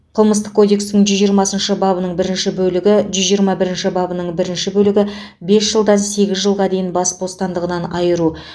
қылмыстық кодекстің жүз жиырмасыншы бабының бірінші бөлігі жүз жиырма бірінші бабының бірінші бөлігі бес жылдан сегіз жылға дейін бас бостандығынан айыру